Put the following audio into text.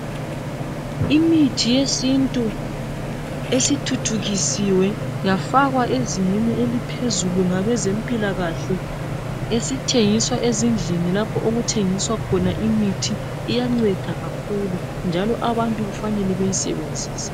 Imithi yesintu esithuthukisiwe yafakwa ezingeni eliphezulu ngabezempilakahle. Esithengiswa ezindlini lapho okuthengiswa khona imithi. Iyanceda kakhulu.